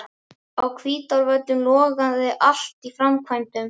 Á Hvítárvöllum logaði allt í framkvæmdum.